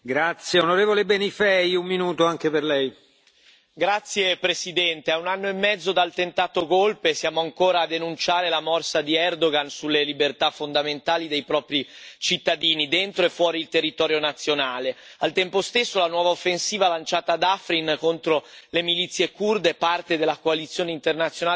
Signor Presidente, onorevoli colleghi, a un anno e mezzo dal tentato golpe, siamo ancora a denunciare la morsa di Erdogan sulle libertà fondamentali dei propri cittadini, dentro e fuori il territorio nazionale. Al tempo stesso, la nuova offensiva lanciata ad Afrin contro le milizie curde, parte della coalizione internazionale contro Daesh, preoccupa non solo per ragioni umanitarie.